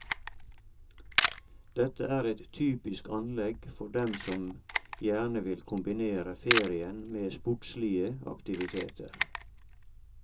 Dette er et typisk anlegg for dem som gjerne vil kombinere ferien med sportslige aktiviteter.